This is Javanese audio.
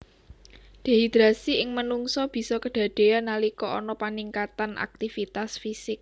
Dehidrasi ing manungsa bisa kedadéyan nalika ana paningkatan aktivitas fisik